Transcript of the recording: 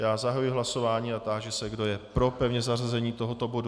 Já zahajuji hlasování a táži se, kdo je pro pevné zařazení tohoto bodu.